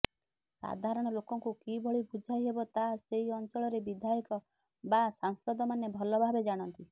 ସାଧାରଣ ଲୋକଙ୍କୁ କିଭଳି ବୁଝାଇ ହେବ ତାହା ସେହି ଅଞ୍ଚଳରେ ବିଧାୟକ ବା ସାଂସଦମାନେ ଭଲଭାବେ ଜାଣନ୍ତି